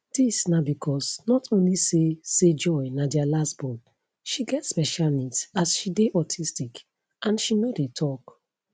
dis na becos not only say say joy na dia last born she get special needs as she dey autistic and she no dey tok